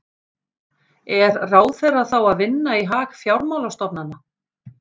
Er ráðherra þá að vinna í hag fjármálastofnana?